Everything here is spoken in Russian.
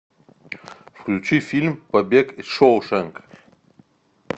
включи фильм побег из шоушенка